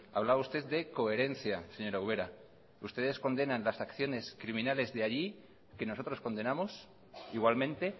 hablaba usted de coherencia señora ubera ustedes condenan las acciones criminales de allí que nosotros condenamos igualmente